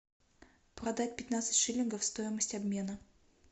продать пятнадцать шиллингов стоимость обмена